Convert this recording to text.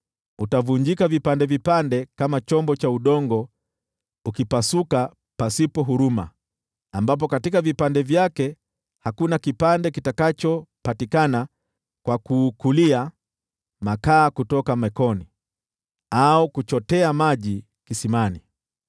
Utavunjika vipande vipande kama chombo cha udongo ukipasuka pasipo huruma ambapo katika vipande vyake hakuna kipande kitakachopatikana kwa kuukulia makaa kutoka jikoni au kuchotea maji kisimani.”